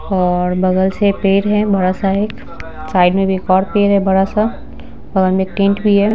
और बगल से पेड़ है बड़ा-सा एक साइड में भी एक और पेड़ है बड़ा-सा बगल में एक टेंट भी है।